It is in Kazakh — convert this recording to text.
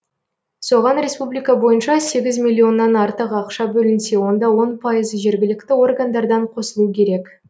соған республика бойынша сегіз миллионнан артық ақша бөлінсе онда он пайызы жергілікті органдардан қосылу керек